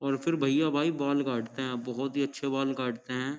और फिर भईया भाई बाल काटते है बहुत ही अच्छे बाल काटते हैं।